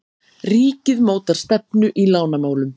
Ríkið mótar stefnu í lánamálum